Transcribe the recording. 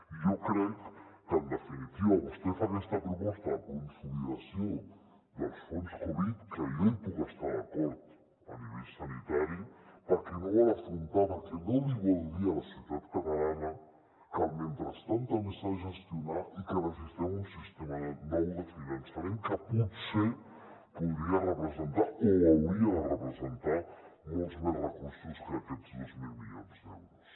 i jo crec que en definitiva vostè fa aquesta proposta de consolidació dels fons covid que jo hi puc estar d’acord a nivell sanitari perquè no vol afrontar perquè no li vol dir a la societat catalana que el mentrestant també s’ha de gestionar i que necessitem un sistema nou de finançament que potser podria representar o hauria de representar molts més recursos que aquests dos mil milions d’euros